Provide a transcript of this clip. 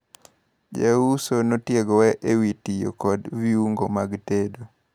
Jauso notiegowa ewi tiyo kod viungo mag tedo.